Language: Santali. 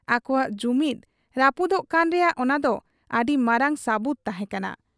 ᱟᱠᱚᱣᱟᱜ ᱡᱩᱢᱤᱫ ᱨᱟᱹᱯᱩᱫᱚᱜ ᱠᱟᱱ ᱨᱮᱭᱟᱜ ᱚᱱᱟᱫᱚ ᱟᱹᱰᱤ ᱢᱟᱨᱟᱝ ᱥᱟᱹᱵᱩᱛ ᱛᱟᱦᱮᱸ ᱠᱟᱱᱟ ᱾